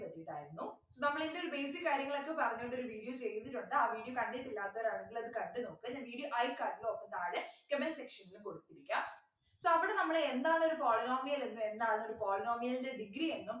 ഉണ്ടായിരുന്നു നമ്മളിതിൽ basic കാര്യങ്ങളൊക്കെ പറഞ്ഞോണ്ട് ഒരു Video ചെയ്തിട്ടുണ്ട് ആ video കണ്ടിട്ടില്ലാത്തവരാണെങ്കിലത്‌ കണ്ടു നോക്കുക ഞാൻ video cart ലോ താഴെ Comment section ലോ കൊടുത്തിരിക്കാ so അവിടെനമ്മള് എന്താണ് ഒരു Polynomial എന്നും എന്നാണ് ഒരു Polynomial ൻ്റെ Degree എന്നും